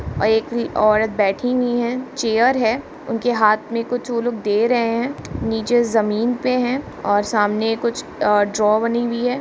एक औरत बैठी हुई है चेयर है उनके हाथ में वो लोग कुछ दे रहे है निचे जमीन पे है और सामने कुछ अ ड्रॉ बनी हुई है।